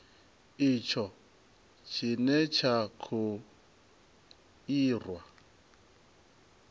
itsho tshine tsha kho irwa